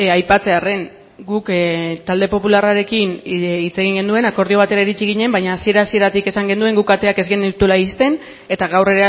aipatzearren guk talde popularrarekin hitz egin genuen akordio batera iritsi ginen baina hasiera hasieratik esan genuen guk ateak ez genituela ixten eta gaur